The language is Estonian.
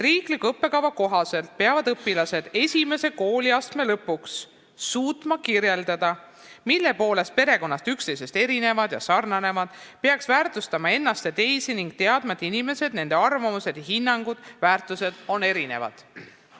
Riikliku õppekava kohaselt peavad õpilased esimese kooliastme lõpuks suutma kirjeldada, mille poolest perekonnad üksteisest erinevad ja üksteisega sarnanevad, nad peaks väärtustama ennast ja teisi ning teadma, et inimesed, nende arvamused ja hinnangud, väärtused on erinevad.